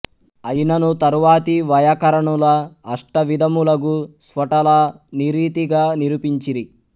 అయినను తరువాతి వైయాకరణుల అష్ట విధములగు స్ఫోటల నీరీతిగా నిరూపించిరి